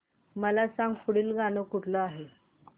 मला सांग पुढील गाणं कुठलं आहे